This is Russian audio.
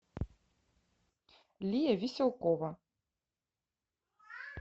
лия веселкова